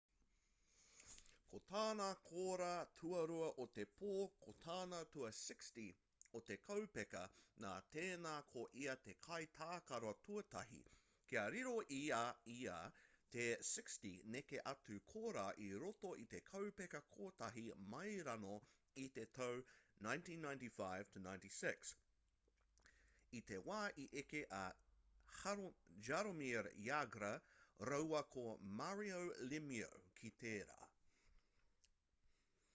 ko tāna kōrā tuarua o te pō ko tana tua 60 o te kaupeka nā tēnā ko ia te kai tākaro tuatahi kia riro i a ia te 60 neke atu kōrā i roto i te kaupeka kotahi mai rānō i te tau 1995-96 i te wā i eke a jaromir jagr rāua ko mario lemieux ki tērā